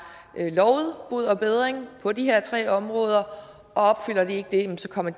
lovet bod og bedring på de her tre områder og opfylder de ikke det jamen så kommer